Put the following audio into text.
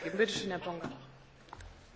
Monsieur, je vous remercie de votre question.